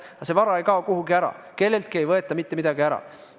Aga see vara ei kao kuhugi ära, kelleltki ei võeta mitte midagi ära.